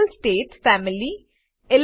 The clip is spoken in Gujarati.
ફિઝિકલ સ્ટેટ 2ફેમિલી 3